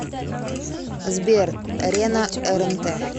сбер рена эрэнтэ